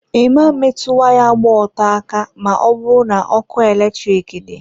I ma metụ waya gba ọtọ aka ma ọ bụrụ na ọkụ eletrik dị.